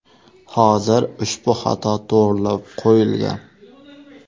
Hozir ushbu xato to‘g‘irlab qo‘yilgan.